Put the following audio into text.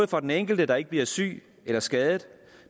for den enkelte der ikke bliver syg eller skadet